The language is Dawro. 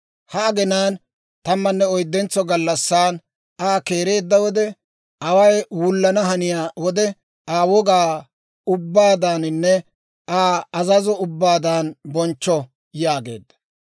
Ha aginaan tammanne oyddentso gallassan, Aa keereedda wode, away wullana haniyaa wode, Aa wogaa ubbaadaaninne Aa azazo ubbaadan bonchcho» yaageedda.